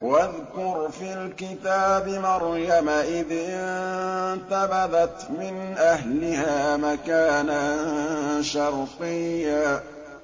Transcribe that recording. وَاذْكُرْ فِي الْكِتَابِ مَرْيَمَ إِذِ انتَبَذَتْ مِنْ أَهْلِهَا مَكَانًا شَرْقِيًّا